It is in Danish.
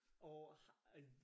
Og har